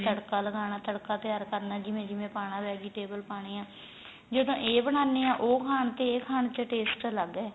ਤੜਕਾ ਲੱਗਣਾ ਤੜਕਾ ਤਿਆਰ ਕਰਨਾ ਜਿਵੇਂ ਜਿਵੇਂ ਪਾਣਾ vegetable ਪਾਣੀਆਂ ਜਦੋ ਇਹ ਬਣਾਨੇ ਆ ਉਹ ਖਾਣ ਤੇ ਇਹ ਖਾਣ ਚ taste ਅੱਲਗ ਏ